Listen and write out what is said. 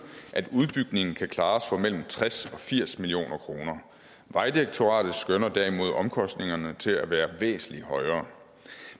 at udbygningen kan klares for mellem tres og firs million kroner vejdirektoratet skønner derimod omkostningerne til at være væsentlig højere